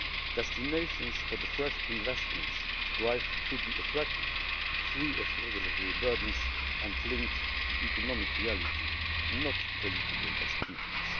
Destinations for the fresh investment drive should be attractive, free of regulatory burdens and linked to economic reality, not political expedience.